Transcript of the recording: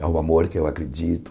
É um amor que eu acredito.